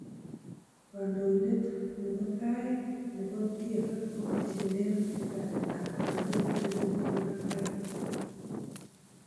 Kondoindetab nebo tai nebo TFF kogochililen ratetab korgoret ye kingolipan bain